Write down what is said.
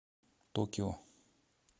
токио